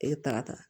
E bɛ taa ka taa ta